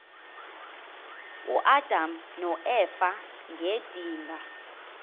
uadam noeva ngedinga